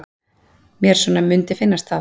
Mér svona mundi finnast það.